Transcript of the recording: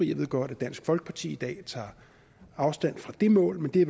jeg ved godt at dansk folkeparti i dag tager afstand fra det mål men det